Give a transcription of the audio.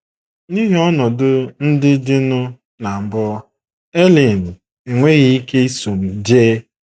N’ihi ọnọdụ ndị dịnụ, na mbụ, Aileen enweghị ike iso m jee.